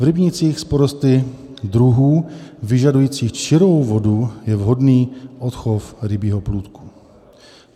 V rybnících s porosty druhů vyžadujících čirou vodu je vhodný odchov rybího plůdku.